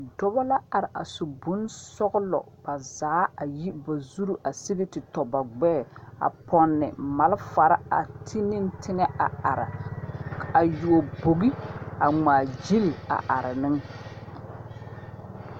Dɔbɔ la are a su bonsɔgelɔ bazaa a yi ba zuri a sigi te tɔ ba gbɛɛ a pɔnne malfare a ti ne teŋɛ a are a yuo bogi a ŋmaa gyili a are meŋ.